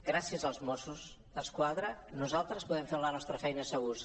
gràcies als mossos d’esquadra nosaltres podem fer la nostra feina segurs